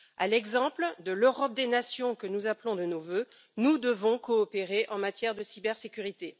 À l'exemple de l'Europe des nations que nous appelons de nos vœux, nous devons coopérer en matière de cybersécurité.